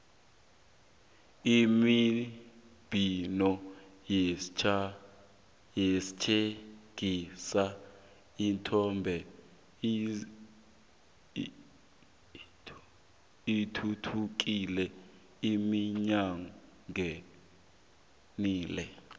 imibhino etjhengisa ithombe ithuthukile iminyakeni le